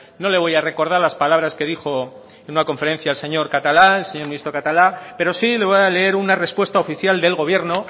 no le voy a recordar las palabras que dijo en una conferencia el señor catalá el señor ministro catalá pero sí le voy leer una respuesta oficial del gobierno